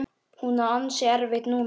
Hún á ansi erfitt núna.